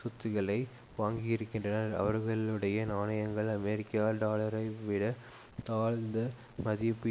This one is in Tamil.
சொத்துக்களை வாங்கியிருக்கின்றன அவர்களுடைய நாணயங்கள் அமெரிக்க டாலரைவிடத் தாழ்ந்த மதிப்பு